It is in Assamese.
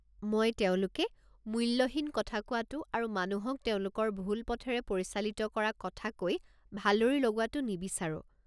মই তেওঁলোকে মূল্যহীন কথা কোৱাটো আৰু মানুহক তেওঁলোকৰ ভুল পথেৰে পৰিচালিত কৰা কথা কৈ ভালৰি লগোৱাটো নিবিচাৰোঁ।